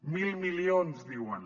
mil milions diuen